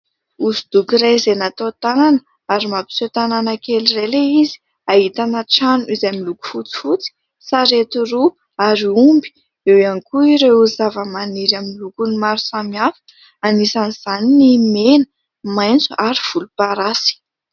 Hosodoko iray izay natao tanana ary mampiseho tanàna kely iray ilay izy, ahitana trano izay miloko fotsifotsy, sarety roa ary omby, eo ihany koa ireo zavamaniry amin'ny lokony maro samihafa, anisan'izany ny mena, maitso ary volomparasy.